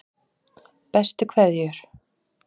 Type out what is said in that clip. Bestu kveðjur